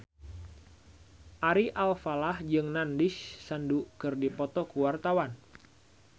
Ari Alfalah jeung Nandish Sandhu keur dipoto ku wartawan